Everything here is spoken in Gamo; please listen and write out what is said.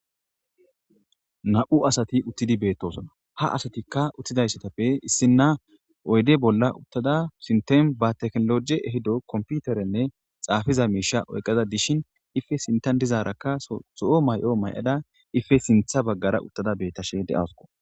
na'u asati uttidi beettosona ha asatikka uttida assatappe issinna oyde bolla uttada sintem ba teknologe ehido komputerenne xaafiza miisha oyqaza dishin ife sintan dizaarakka zo'o may'o ma'ada ife sintha baggara uttada beettashe de'awusikko